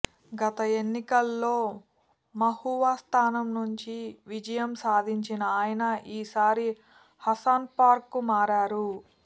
గత ఎన్నికల్లో మహువా స్థానం నుంచి విజయం సాధించిన ఆయన ఈసారి హసన్పుర్కు మారారు